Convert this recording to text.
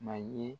Ma ye